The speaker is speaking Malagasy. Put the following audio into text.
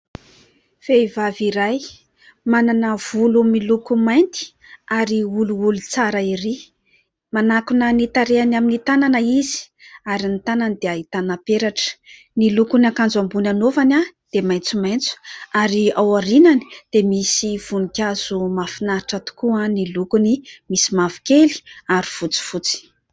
Vehivavy iray manana volo miloko mainty ary olioly tsara ery. Manakona ny tarehiny amin'ny tanana izy ary ny tanany dia ahitana peratra. Ny lokon'ny akanjo ambony anaovany dia maitsomaitso ary ao aorinany dia misy voninkazo mahafinaritra tokoa ny lokony, misy mavokely ary fotsifotsy.